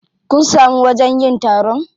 Kun samu wajen yin taron?